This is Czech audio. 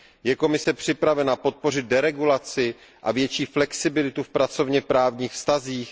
Je Komise připravena podpořit deregulaci a větší flexibilitu v pracovněprávních vztazích?